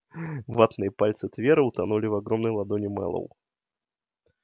ватные пальцы твера утонули в огромной ладони мэллоу